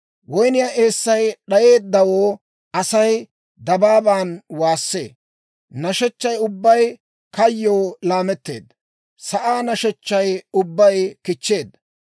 Woynniyaa eessay d'ayeeddawoo Asay dabaaban waassee; nashechchaa ubbay kayyoo laametteedda; sa'aa nashechchay ubbay kichcheedda.